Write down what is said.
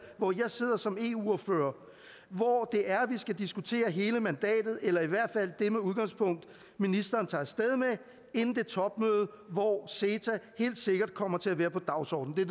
hvor jeg sidder som eu ordfører hvor det er vi skal diskutere hele mandatet eller i hvert fald det udgangspunkt ministeren tager af sted med inden det topmøde hvor ceta helt sikkert kommer til at være på dagsordenen